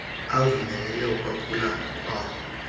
avumele ukwaphula kwawo